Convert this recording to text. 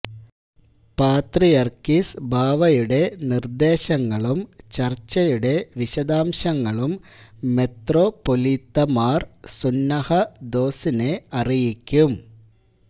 പാത്രിയര്ക്കീസ് ബാവയുടെ നിര്ദേശങ്ങളും ചര്ച്ചയുടെ വിശദാംശങ്ങളും മെത്രാപ്പോലീത്തമാര് സുന്നഹദോസിനെ അറിയിക്കും